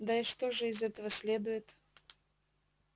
да и что же из этого следует